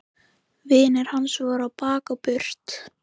Vinir hans voru á bak og burt.